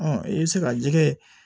i bɛ se ka jɛgɛ